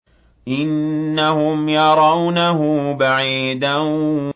إِنَّهُمْ يَرَوْنَهُ بَعِيدًا